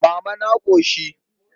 Mama na ƙoshi.